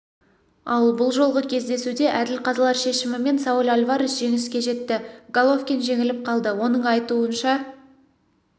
ал бұл жолғы кездесуде әділ қазылар шешімімен сауль альварес жеңіске жетті головкин жеңіліп қалды оның айтуынша